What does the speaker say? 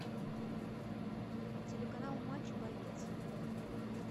телеканал матч боец